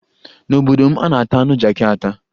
N'obodo m, a na-ata anụ jakị ata.